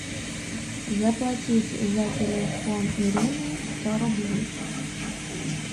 заплатить за телефон ирины сто рублей